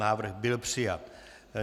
Návrh byl přijat.